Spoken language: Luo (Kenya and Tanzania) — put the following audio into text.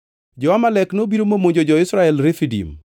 Jo-Amalek nobiro momonjo jo-Israel Refidim.